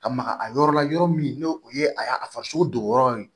Ka maka a yɔrɔ la yɔrɔ min n'o o ye a farisogo dogoyɔrɔ ye